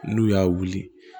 N'u y'a wuli